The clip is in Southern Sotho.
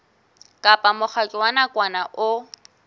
kapa mokgatlo wa nakwana o